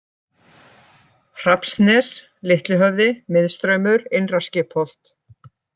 Hrafnsnes, Litli-Höfði, Miðstraumur, Innra-Skipholt